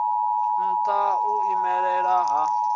ha nha u imelela ha